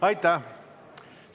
Aitäh!